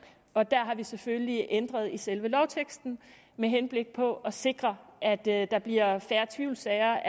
og der har vi selvfølgelig ændret i selve lovteksten med henblik på at sikre at at der bliver færre tvivlssager